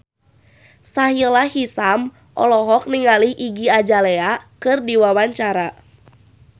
Sahila Hisyam olohok ningali Iggy Azalea keur diwawancara